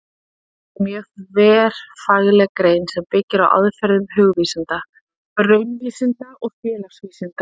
Fornleifafræði er mjög þverfagleg grein sem byggir á aðferðum hugvísinda, raunvísinda og félagsvísinda.